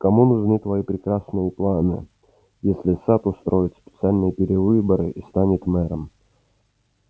кому нужны твои прекрасные планы если сатт устроит специальные перевыборы и сам станет мэром